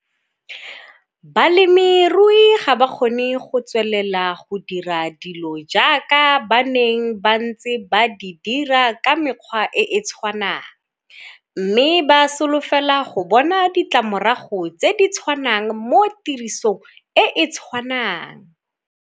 Balemirui ga ba kgone go tswelela go dira dilo jaaka ba neng ba ntse ba di dira ka mekgwa e e tshwanang mme ba solofela go bona ditlamorago tse di tshwanang mo tirisong e e tshwanang.